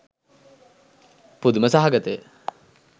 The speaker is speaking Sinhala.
පුදුම සහගතය.